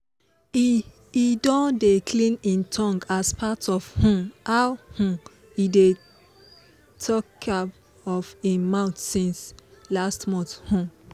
he don dey clean him tongue as part of um how um e dey takia of him mouth since last month um